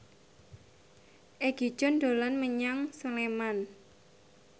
Egi John dolan menyang Sleman